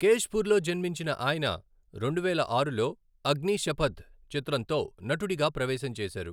కేశ్పూర్లో జన్మించిన ఆయన, రెండువేల ఆరులో అగ్నీషపథ్ చిత్రంతో నటుడిగా ప్రవేశం చేశారు.